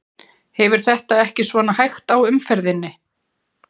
Hefur þetta ekki svona hægt á umferðinni?